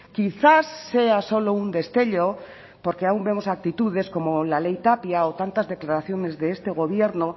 quizás sea solo un destello porque aún vemos actitudes como la ley tapia o tantas declaraciones de este gobierno